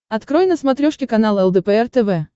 открой на смотрешке канал лдпр тв